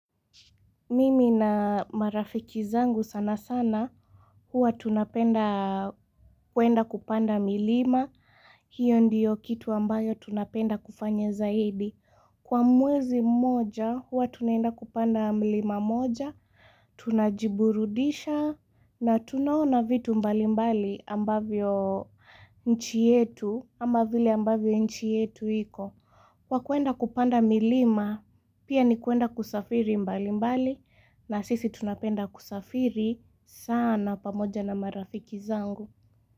Mimi na marafiki zangu sana sana, huwa tunapenda kwenda kupanda milima, hiyo ndiyo kitu ambayo tunapenda kufanye zaidi. Kwa mwezi mmoja, huwa tunenda kupanda milima moja, tunajiburudisha, na tunaona vitu mbali mbali ambavyo nchi yetu, ama vile ambavyo nchi yetu iko. Kwakwenda kupanda milima pia ni kuenda kusafiri mbali mbali na sisi tunapenda kusafiri sana pamoja na marafiki zangu.